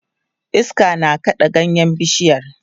iska na kaɗa ganyen bishiyar